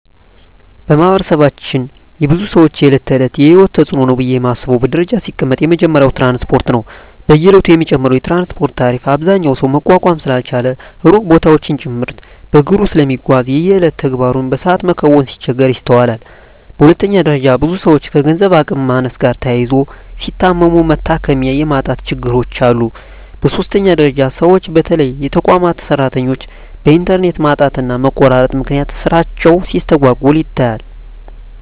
በማህበረሰባችን የብዙ ሰወች የእለት ተእለት የሂወት ተጽኖ ነው ብየ ማስበው በደረጃ ሲቀመጥ የመጀመሪያው ትራንስፓርት ነው። በየእለቱ የሚጨምረው የትራንስፓርት ታሪፍ አብዛኛው ሰው መቋቋም ስላልቻለ ሩቅ ቦታወችን ጭምርት በእግሩ ስለሚጓዝ የየእለት ተግባሩን በሰአት መከወን ሲቸገር ይስተዋላል። በሁለተኛ ደረጃ ብዙ ሰወች ከገንዘብ አቅም ማነስ ጋር ተያይዞ ሲታመሙ መታከሚያ የማጣት ችግሮች አሉ። በሶስተኛ ደረጃ ሰወች በተለይ የተቋማት ሰራተኞች በእንተርኔት ማጣትና መቆራረጥ ምክንያት ስራቸው ሲስተጓጎል ይታያል።